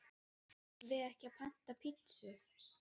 Eigum við ekki panta pitsu?